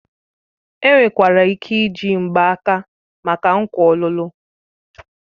Enwekwara ike iji mgbaaka maka nkwa ọlụlụ.